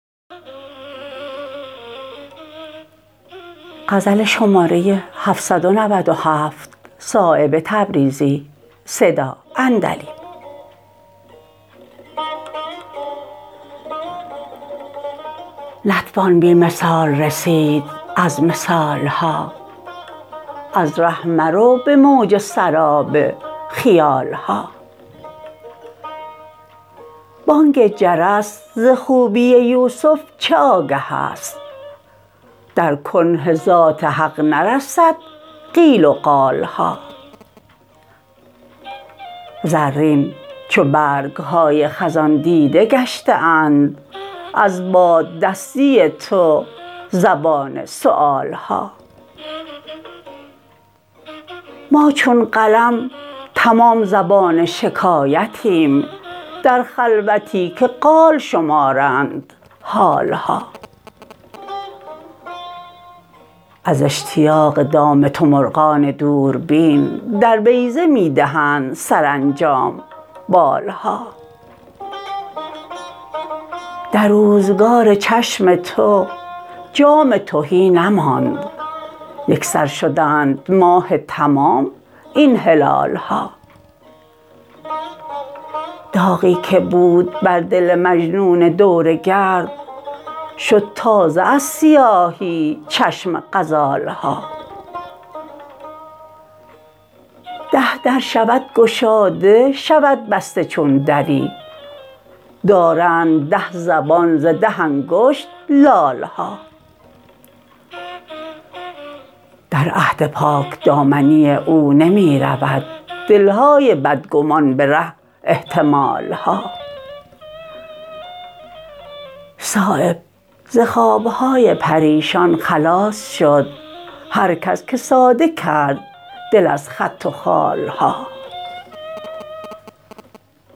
نتوان به بی مثال رسید از مثال ها از ره مرو به موج سراب خیال ها بانگ جرس ز خوبی یوسف چه آگه است در کنه ذات حق نرسد قیل و قال ها زرین چو برگ های خزان دیده گشته اند از باد دستی تو زبان سؤال ها ما چون قلم تمام زبان شکایتیم در خلوتی که قال شمارند حال ها از اشتیاق دام تو مرغان دوربین در بیضه می دهند سرانجام بال ها در روزگار چشم تو جام تهی نماند یکسر شدند ماه تمام این هلال ها داغی که بود بر دل مجنون دورگرد شد تازه از سیاهی چشم غزال ها ده در شود گشاده شود بسته چون دری دارند ده زبان ز ده انگشت لال ها در عهد پاکدامنی او نمی رود دل های بدگمان به ره احتمال ها صایب ز خواب های پریشان خلاص شد هرکس که ساده کرد دل از خط و خال ها